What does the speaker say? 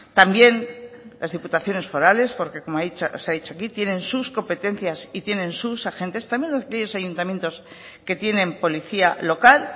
también las diputaciones forales porque como se ha dicho aquí tienen sus competencias y tienen sus agentes también los ayuntamientos que tienen policía local